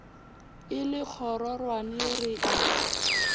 e le kgororwane re a